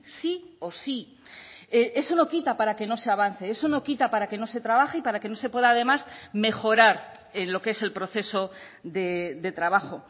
sí o sí eso no quita para que no se avance eso no quita para que no se trabaje y para que no se pueda además mejorar en lo que es el proceso de trabajo